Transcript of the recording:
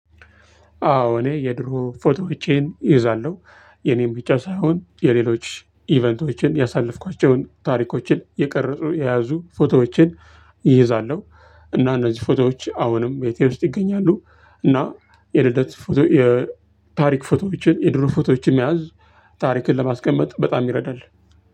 አዎ እኔ የዱሮ ፎቶዎቴን ይህዛለው የእኔን ብቻ ሳሆን የሌሎችን እቬንቶችን ያሳለፍኳቼው ታሪኮችን የቀርፅ የያዙ ፎቶዎቼን ይህዛለው። እና እነዚህ ፎቶዎች አሁንም ቤቴ ውስጥ ይገኛሉ። እና የልደት ፎቶ የታሪክ ፎቶዎችን የድሮ ፎቶዎችን መያዝ ታሪክን ለማስቀመጥ በጣም ይርዳል።